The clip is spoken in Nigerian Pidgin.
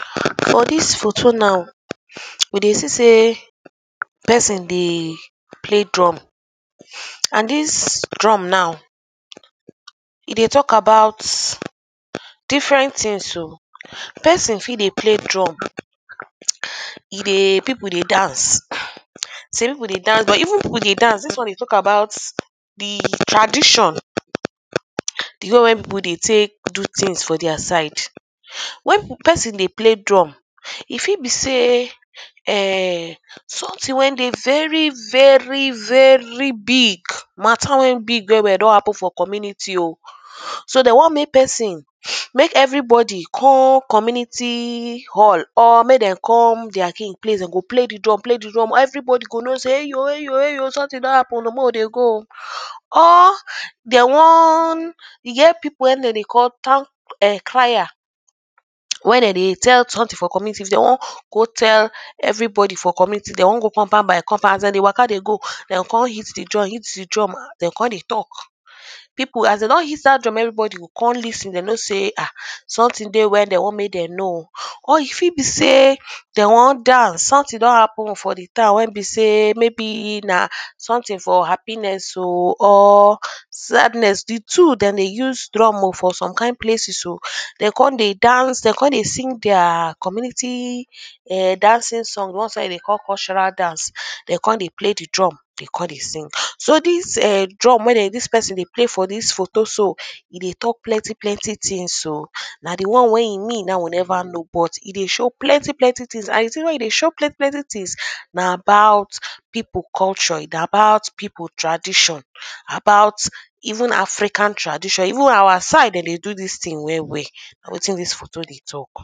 For dis photo now we dey see sey person dey play drum and dis drum now e dey talk about different things oh. Person fit dey play drum e dey people dey dance. Some people dey dance but even people dey dance dis one dey talk about the tradition. The way wey people dey take do things for their side. When person dey play drum, e fit be sey erm something wey dey very very very big. Mature wey big, wey dem do happen for the community oh. So de wan make person make everybody come community all or make dem come their king place. De go play the drum play the drum. Everybody go know sey eyo eyo eyo something don happen oh make we dey go oh or de wan e get people when no dey call turn cryer. when de dey tell something for the community, if de wan go tell everybody for community, if de wan go compound by compound. As de dey waka dey go, de o con hit the drum hit the drum, de o con dey talk urh. People as de don hit dat drum, everybody go con lis ten de know sey ha something dey wey dem want make dem know or e fit be sey de wan dance. Something don happen for the town when be sey maybe na something for happiness oh or sadness. The two dem dey use drum oh for some kind places oh. De oh con dey dance, de oh con dey sing their community ern dancing song. The ones wey dem dey call cultural dance. De oh con dey play the drum de o con dey sing. So dis erm drum wey dey dis person dey play for dis photo so, e dey talk plety plenty things oh. Na the one wey e mean, na im we never know but e dey show plenty plenty things. And the things wey e dey show plenty plenty things na about people culture. Na about people tradition about even african tradition. Even our side dem dey do dis thing well well. Na wetin dis photo dey talk.